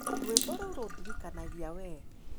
Rwĩmbo rũu rũndirikanagia wee.